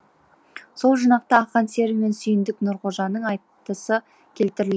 сол жинақта ақан сері мен сүйіндік нұрғожаның айтысы келтірілген